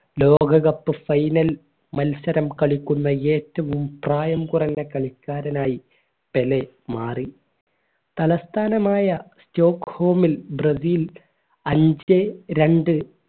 ലോക cup final മത്സരം കളിക്കുന്ന ഏറ്റവും പ്രായം കുറഞ്ഞ കളിക്കാരനായി പെലെ മാറി തലസ്ഥാനമായ സ്റ്റോക്ക് ഹോമിൽ ബ്രസീൽ അഞ്ചേ രണ്ട്‌